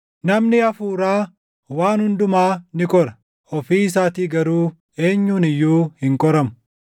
Namni Hafuuraa waan hundumaa ni qora; ofii isaatii garuu eenyuun iyyuu hin qoramu.